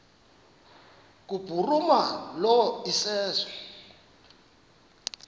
kubhuruma lo iseso